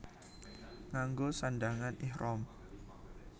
Nganggo sandhangan ihram